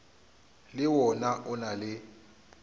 le wona o na le